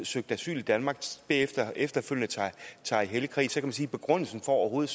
søgt asyl i danmark efterfølgende tager tager i hellig krig så kan man sige at begrundelsen for overhovedet